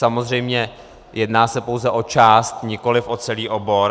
Samozřejmě jedná se pouze o část, nikoliv o celý obor.